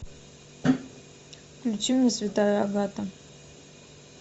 включи мне святая агата